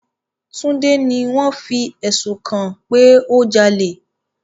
Tunde ni wọn fi ẹsun kàn pe o jale